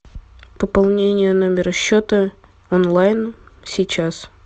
пополнение номера счета онлайн сейчас